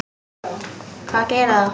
Hvað gerir það?